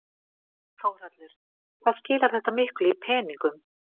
Þórhallur: Hvað skilar þetta miklu í peningum?